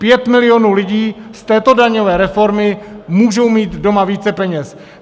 Pět milionů lidí z této daňové reformy můžou mít doma více peněz.